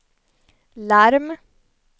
larm